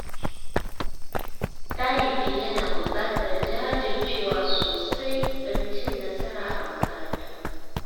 Ɗalibi yana buƙatar jajircewa sosai domin cin nasara a makaranta.